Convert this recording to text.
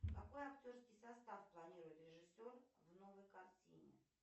какой актерский состав планирует режиссер в новой картине